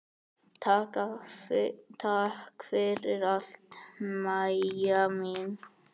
Takk fyrir allt, Mæja mín.